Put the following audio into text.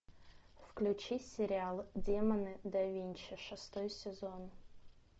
включи сериал демоны да винчи шестой сезон